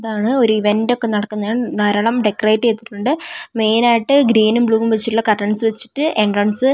ഇതാണ് ഒരു ഇവന്റൊക്കെ നടക്കുന്നയാണ് ധാരാളം ഡെക്കറേറ്റ് ചെയ്തിട്ടുണ്ട് മെയിൻ ആയിട്ട് ഗ്രീനും ബ്ലൂവും വെച്ചിട്ടുള്ള കർട്ടൻസ് വെച്ചിട്ട് എൻട്രൻസ് --